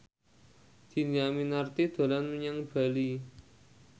Dhini Aminarti dolan menyang Bali